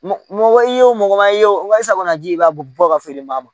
Mɔgɔ i ye o mɔgɔ ma y'o sago kɔnɔ de i b'a bɔ ka feere ma